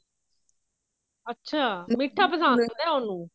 ਅੱਛਾ ਮਿੱਠਾ ਪਸੰਦ ਹੈ ਉਹਨੂੰ